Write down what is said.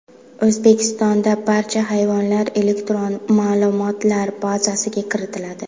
O‘zbekistonda barcha hayvonlar elektron ma’lumotlar bazasiga kiritiladi.